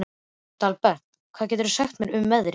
Dalbert, hvað geturðu sagt mér um veðrið?